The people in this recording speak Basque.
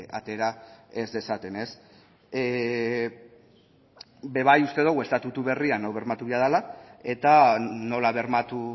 atera ez dezaten ez be bai uste dogu estatutu berrian hau bermatu behar dela eta nola bermatu